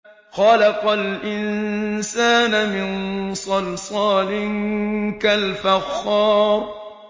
خَلَقَ الْإِنسَانَ مِن صَلْصَالٍ كَالْفَخَّارِ